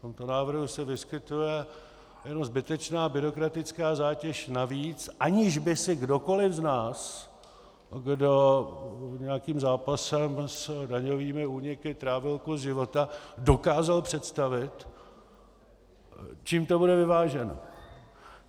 V tomto návrhu se vyskytuje jenom zbytečná byrokratická zátěž navíc, aniž by si kdokoliv z nás, kdo nějakým zápasem s daňovými úniky trávil kus života, dokázal představit, čím to bude vyváženo.